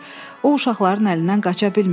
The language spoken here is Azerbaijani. O uşaqların əlindən qaça bilmirdi.